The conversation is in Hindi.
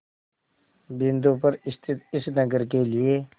बिंदु पर स्थित इस नगर के लिए